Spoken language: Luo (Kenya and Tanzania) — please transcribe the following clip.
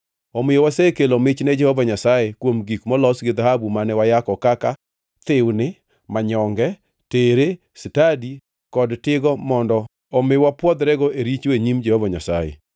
Omiyo wasekelo mich ne Jehova Nyasaye kuom gik molos gi dhahabu mane wayako kaka; thiwni, manyonge, tere, stadi kod tigo mondo omi wapwodhrego e richo e nyim Jehova Nyasaye.”